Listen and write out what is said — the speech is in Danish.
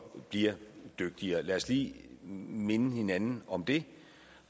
bliver dygtigere lad os lige minde hinanden om det